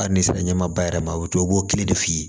A nisɔnjaba yɛrɛ ma i b'o kelen de f'i ye